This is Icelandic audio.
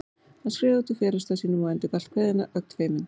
Hann skreið út úr felustað sínum og endurgalt kveðjuna, ögn feiminn.